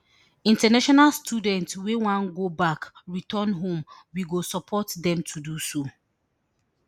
international students wey wan go back return home we go support dem to do so